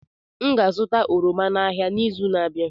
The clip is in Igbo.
M ga-azụta oroma n'ahịa n'izu na-abịa.